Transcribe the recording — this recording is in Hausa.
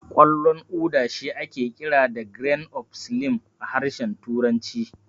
Ƙwallon Uda shi ake kira da "Grains of Slim" a harshen turanci.